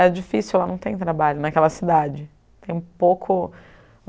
É difícil, lá não tem trabalho, naquela cidade. Tem pouco